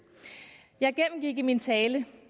jeg gennemgik i min tale